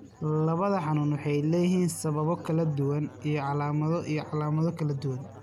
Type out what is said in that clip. Labada xanuun waxay leeyihiin sababo kala duwan iyo calaamado iyo calaamado kala duwan.